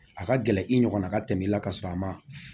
A ka gɛlɛn i ɲɔgɔnna ka tɛmɛ i la ka sɔrɔ a ma